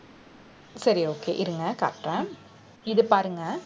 சரி okay இருங்க காட்டுறேன் இது பாருங்க